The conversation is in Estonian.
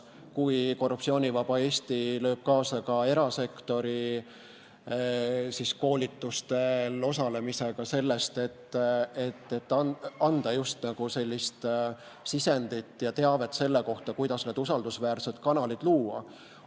Ka Korruptsioonivaba Eesti lööb kaasa erasektori koolitustel osalemisega selles, et anda sisendit ja teavet selle kohta, kuidas need usaldusväärsed kanalid luua.